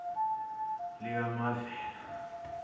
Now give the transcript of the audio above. likamavela